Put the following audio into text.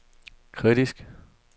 kritiske